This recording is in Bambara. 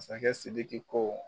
Masakɛ SIDIKI ko.